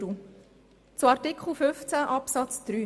Ich komme nun zu Artikel 15 Absatz 3.